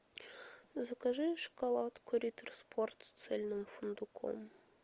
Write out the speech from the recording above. закажи шоколадку риттер спорт с цельным фундуком